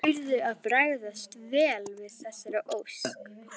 Þeir urðu að bregðast vel við þessari ósk.